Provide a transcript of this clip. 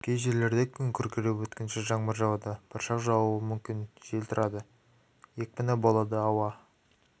кей жерлерде күн күркіреп өткінші жаңбыр жауады бұршақ жаууы мүмкін жел тұрады екпіні болады ауа